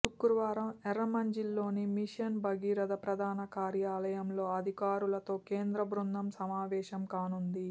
శుక్రవారం ఎర్రమంజిల్లోని మిషన్ భగీరథ ప్రధాన కార్యాలయం లో అధికారులతో కేంద్ర బృందం సమావేశం కానుంది